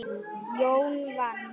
Jón vann.